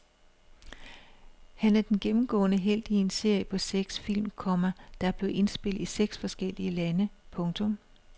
Han er den gennemgående helt i en serie på seks film, komma der er blevet indspillet i seks forskellige lande. punktum